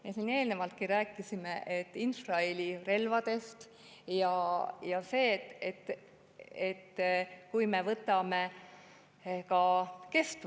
Me siin eelnevalt rääkisime infrahelirelvadest ja ka kestvusest.